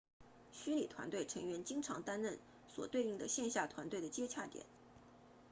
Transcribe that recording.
虚拟团队成员经常担任所对应的线下团队的接洽点